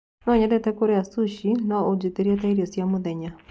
no nyende kũria sushi no unjitirie taĩrĩo cĩa mũthenya